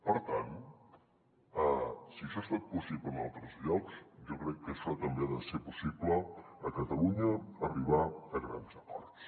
per tant si això ha estat possible en altres llocs jo crec que això també ha de ser possible a catalunya arribar a grans acords